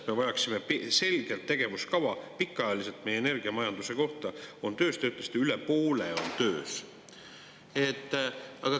Me vajaksime selget tegevuskava pikaajaliselt meie energiamajanduse kohta on töös, te ütlesite, et üle poole on töös.